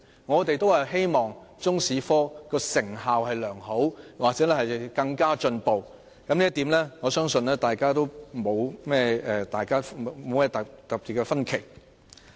我們都希望中史科成效良好或更為進步，對於這一點，我相信大家不會有太大的分歧。